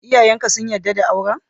Iyayen ka sun yarda da auren?